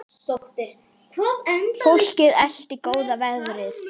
Fólkið elti góða veðrið.